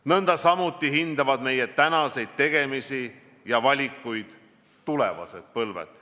Nõndasamuti hindavad meie tänaseid tegemisi ja valikuid tulevased põlved.